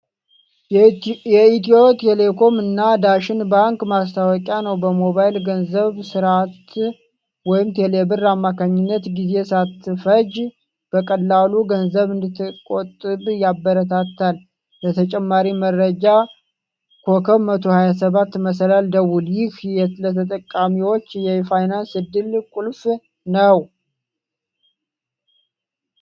የኢትዮ ቴሌኮም እና ዳሽን ባንክ ማስታወቂያ ነው። በሞባይል ገንዘብ ሥርዓት (ቴሌብር) አማካኝነት፣ ጊዜ ሳትፈጅ በቀላሉ ገንዘብ እንድትቆጥብ ያበረታታል። ለተጨማሪ መረጃ *127# ደውል። ይህ ለተጠቃሚዎች የፋይናንስ ዕድገት ቁልፍ ነው።